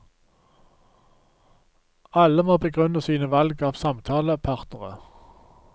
Alle må begrunne sine valg av samtalepartnere.